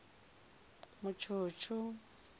mutshutshu